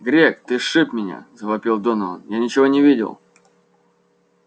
грег ты сшиб меня завопил донован я ничего не видел